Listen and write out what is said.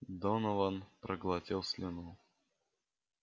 донован проглотил слюну